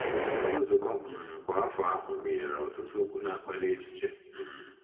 Nzukọ um kwa afọ ahụ gụnyere ọtụtụ okwu na-akpali echiche um.